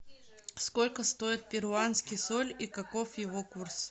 сколько стоит перуанский соль и каков его курс